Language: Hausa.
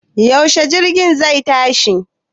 Yaushe jirgin zai tashi?